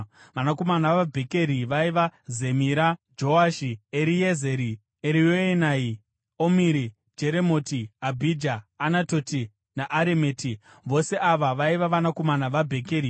Vanakomana vaBhekeri vaiva: Zemira, Joashi, Eriezeri, Erioenai, Omiri, Jeremoti, Abhija, Anatoti naAremeti. Vose ava vaiva vakomana vaBhekeri.